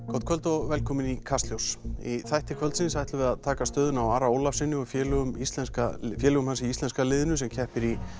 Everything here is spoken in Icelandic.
gott kvöld og velkomin í Kastljós í þætti kvöldsins ætlum við að taka stöðuna á Ara Ólafssyni og félögum íslenska félögum íslenska liðsins sem keppir í